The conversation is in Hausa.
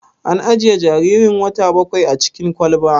An ajiye jaririn wata bakwain a cikin kwalba?